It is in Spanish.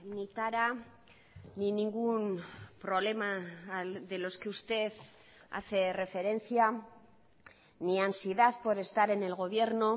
ni tara ni ningún problema de los que usted hace referencia ni ansiedad por estar en el gobierno